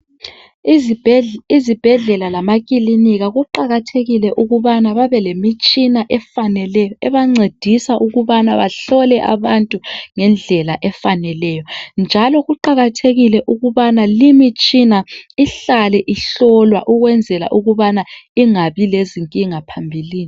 Izibhedlela lamakilinika kuqakathekile ukubana babelemitshina efaneleyo ebancedisa ukubana bahlole abantu ngendlela efaneleyo njalo kuqakathekile ukubana limitshina ihlale ihlolwa ukwenzele ukubana ingabi lezinkinga phambilini.